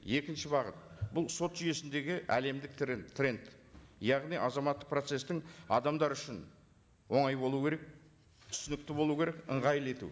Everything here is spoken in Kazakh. екінші бағыт бұл сот жүйесіндегі әлемдік тренд яғни азаматтық процесстің адамдар үшін оңай болу керек түсінікті болу керек ыңғайлы ету